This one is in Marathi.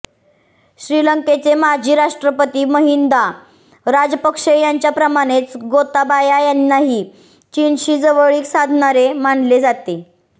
श्रीलंकेचे माजी राष्ट्रपती महिंदा राजपक्षे यांच्याप्रमाणेच गोताबाया यांनाही चीनशी जवळीक साधणारे मानले जाते